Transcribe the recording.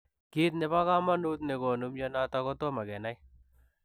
Kiit nepo kamanuut negonuu mionitok kotomo kenai.